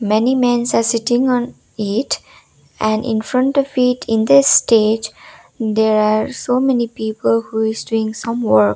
many mans are sitting on it and infront of it in the stage there are so many people who is doing some work.